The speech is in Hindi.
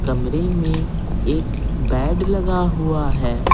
कमरे में एक बेड लगा हुआ है।